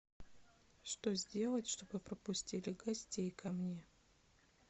что сделать чтобы пропустили гостей ко мне